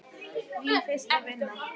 Mín fyrsta vinna.